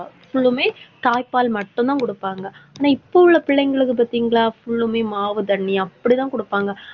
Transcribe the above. full லுமே தாய்ப்பால் மட்டும்தான் குடுப்பாங்க. ஆனா, இப்ப உள்ள பிள்ளைங்களுக்கு பாத்தீங்களா full மே மாவு தண்ணி அப்படித்தான் குடுப்பாங்க